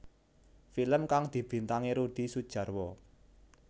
Film kang dibintangi Rudi Sudjarwo